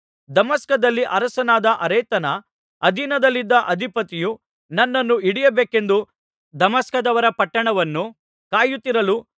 ದಮಸ್ಕದಲ್ಲಿ ಅರಸನಾದ ಅರೇತನ ಅಧೀನದಲ್ಲಿದ್ದ ಅಧಿಪತಿಯು ನನ್ನನ್ನು ಹಿಡಿಯಬೇಕೆಂದು ದಮಸ್ಕದವರ ಪಟ್ಟಣವನ್ನು ಕಾಯುತ್ತಿರಲು